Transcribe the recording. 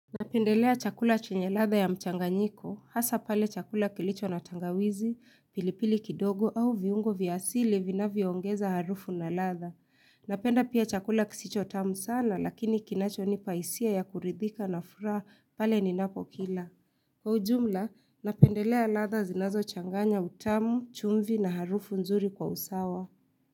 Napendelea chakula chenye ladha ya mchanganyiko, hasa pale chakula kilicho na tangawizi, pilipili kidogo au viungo vya asili vinavyoongeza harufu na ladha. Napenda pia chakula kisicho tamu sana lakini kinacho nipa hisia ya kuridhika na furaha pale ninapo kila. Kwa ujumla, napendelea ladha zinazochanganya utamu, chumvi na harufu nzuri kwa usawa.